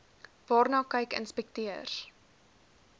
waarna kyk inspekteurs